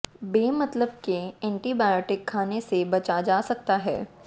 बे मतलब के एंटीबायोटिक खाने से बचा जा सकता है